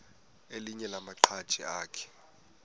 elinye lamaqhaji akhe